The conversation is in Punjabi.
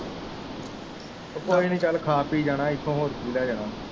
ਕੋਈ ਨੀ ਚੱਲ ਖਾ ਪੀ ਜਾਣਾ ਇੱਥੋਂ ਹੋਰ ਕੀ ਲੈ ਜਾਣਾ।